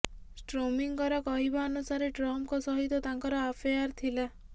ଷ୍ଟ୍ରୋମିଙ୍କର କହିବା ଅନୁସାରେ ଟ୍ରମ୍ପଙ୍କ ସହିତ ତାଙ୍କର ଆଫେୟାର୍ ଥିଲା